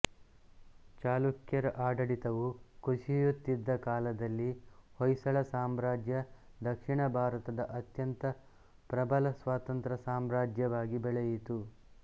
ಚಾಲುಕ್ಯರ ಆಡಳಿತವು ಕುಸಿಯಿತ್ತಿದ್ದ ಕಾಲದಲ್ಲಿ ಹೊಯ್ಸಳ ಸಾಮ್ರಾಜ್ಯ ದಕ್ಷಿಣ ಭಾರತದ ಅತ್ಯಂತ ಪ್ರಭಲ ಸ್ವತಂತ್ರ್ಯ ಸಾಮ್ರಾಜ್ಯವಾಗಿ ಬೆಳೆಯಿತು